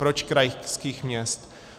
Proč krajských měst?